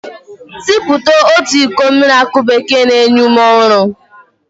Siputu otu iko mmiri aki bekee na-enye ume ọhụrụ